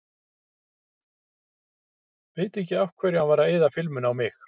Veit ekki af hverju hann var að eyða filmunni á mig.